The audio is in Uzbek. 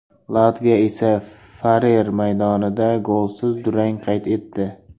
Latviya esa Farer maydonida golsiz durang qayd etdi.